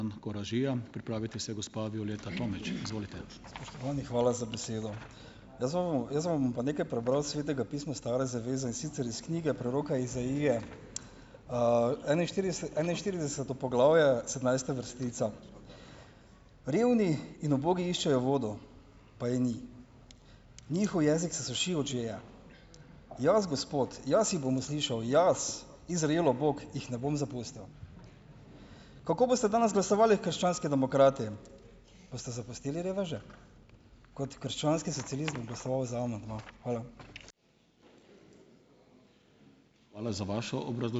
Spoštovani, hvala za besedo. Jaz vam bom, jaz vam bom pa nekaj prebral iz Svetega pisma Stare zaveze, in sicer iz knjige preroka Izaije. enainštirideseto poglavje, sedemnajsta vrstica: "Revni in ubogi iščejo vodo, pa je ni, njihov jezik se suši od žeje. Jaz, Gospod, jaz jih bom uslišal, jaz, Izraelov Bog, jih ne bom zapustil." Kako boste danes glasovali krščanski demokrati? Boste zapustili reveže? Kot krščanski socialist bom glasoval za amandma. Hvala.